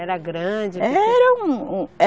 Era grande? Era um, um